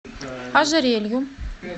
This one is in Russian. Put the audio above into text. ожерелью